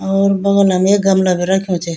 और बागला मा एक गमला भी रख्युं च।